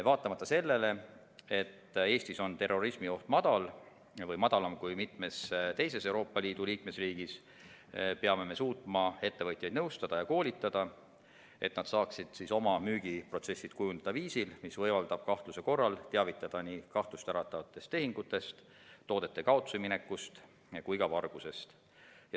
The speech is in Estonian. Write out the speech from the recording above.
Vaatamata sellele, et Eestis on terrorismioht madal või madalam kui mitmes teises Euroopa Liidu liikmesriigis, peame me suutma ettevõtjaid nõustada ja koolitada, et nad saaksid oma müügiprotsessi kujundada viisil, mis võimaldab kahtluse korral teavitada nii kahtlust äratavatest tehingutest, toodete kaotsiminekust kui ka vargusest.